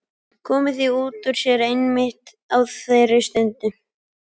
Komið því út úr sér einmitt á þeirri stundu.